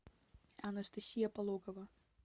анастасия пологова